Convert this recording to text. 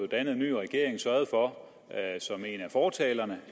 dannet en ny regering sørget for som en af fortalerne